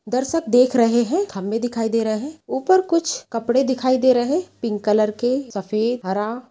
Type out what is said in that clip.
दर्शक देख रहें है खम्बे दिखाई दे रहें हैं ऊपर कुछ कपड़े दिखाई दे रहें हैं पिंक कलर के सफ़ेद हरा।